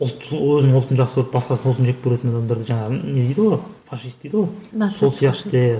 ұлт өзінің ұлтын жақсы көріп басқасының ұлтын жек көретін адамдарды жаңағы не дейді ғой фашист дейді ғой нацист сол сияқты